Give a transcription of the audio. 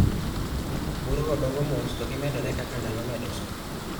Bur go dongo mos to gimedore kaka ndalo medo sudo.